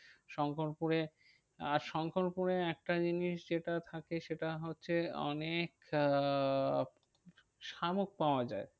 শঙ্করপুরে আর শঙ্করপুরে একটা জিনিস যেটা থাকে সেটা হচ্ছে অনেক আহ শামুক পাওয়া যায়।